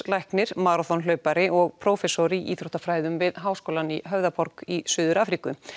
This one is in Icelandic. læknir maraþonhlaupari og prófessor í íþróttafræðum við háskólann í Höfðaborg í Suður Afríku